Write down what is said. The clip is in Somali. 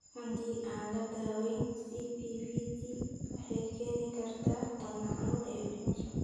Haddii aan la daweyn CPVT waxay keeni kartaa wadna xanuun iyo dhimasho.